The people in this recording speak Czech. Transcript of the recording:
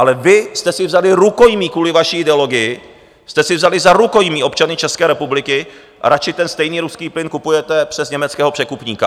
Ale vy jste si vzali rukojmí, kvůli vaší ideologii jste si vzali za rukojmí občany České republiky a radši ten stejný ruský plyn kupujete přes německého překupníka.